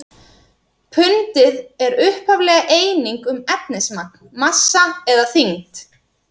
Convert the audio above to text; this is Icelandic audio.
Pundið er upphaflega eining um efnismagn, massa eða þyngd.